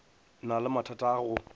na le mathata a go